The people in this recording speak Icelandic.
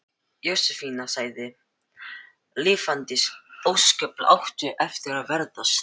Jósefína sagði: Lifandis ósköp áttu eftir að ferðast.